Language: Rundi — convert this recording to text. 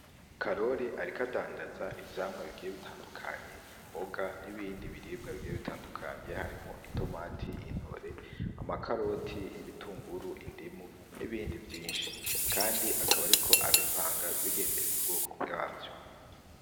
Karori ariko adandaza ivyamya bigiye bitandutandukanye imboga n'ibindi biribwa bigiye bitandukanye harimwo itomati, intore ,amakaroti, ibitunguru, indimu n'ibindi vyishi kandi akaba ariko abipanga agendeye ku bwoko bwavyo.